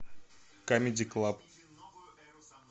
камеди клаб